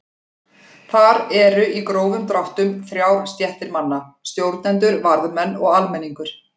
Þar eru í grófum dráttum þrjár stéttir manna: Stjórnendur, varðmenn og almenningur.